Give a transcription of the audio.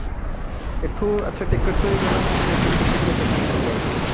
ଏଠୁ ଆଛା ଟିକେଟ କରିକି ଗଲା ମାନେ ତ return ଟିକେଟ ବି ଏକ ସାଙ୍ଗରେ କରିଦବାକୁ ପଡିବ